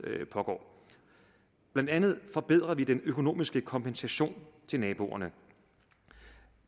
pågår blandt andet forbedrer vi den økonomiske kompensation til naboerne